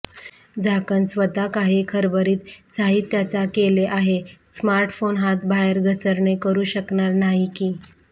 झाकण स्वतः काही खरबरीत साहित्याचा केले आहे स्मार्टफोन हात बाहेर घसरणे करू शकणार नाही की